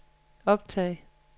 optag